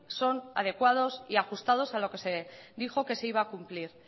son adecuados y ajustados a lo que se dijo que se iba a cumplir